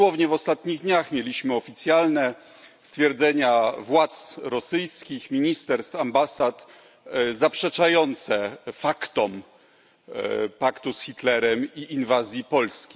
Dosłownie w ostatnich dniach mieliśmy oficjalne stwierdzenia władz rosyjskich, ministerstw, ambasad zaprzeczające faktom paktu z Hitlerem i inwazji Polski.